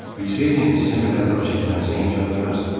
Bilsəydim, sizin belə əzab çəkmənizə imkan verməzdim.